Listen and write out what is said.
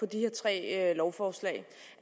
de her tre lovforslag